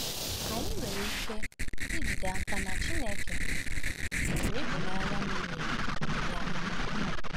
Anyị nwere ike ijide n’aka na Chineke nwere ịhụnanya miri emi nye anyị.